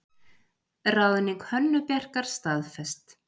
Ráðning Hönnu Bjarkar staðfest